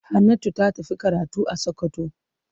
Hannatu ta tafi karatu a Sokoto.